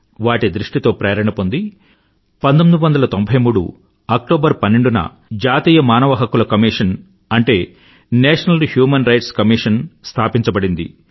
వాటి దృష్టితో ప్రేరణ పొంది 1993 అక్టోబర్ 12 న జాతీయ మానవ హక్కుల కమిషన్ అంటే national human rights commission NHRC స్థాపించబడింది